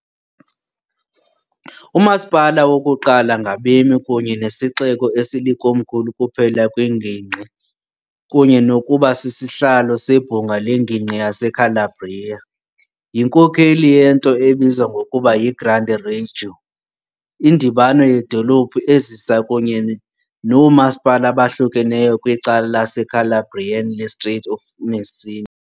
Umasipala wokuqala ngabemi kunye nesixeko esilikomkhulu kuphela kwiNgingqi, kunye nokuba sisihlalo seBhunga leNgingqi yaseCalabria, yinkokeli yento ebizwa ngokuba "yiGrande Reggio", indibano yedolophu ezisa kunye noomasipala abohlukeneyo kwicala laseCalabrian leStrait of Messina .